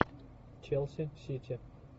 челси сити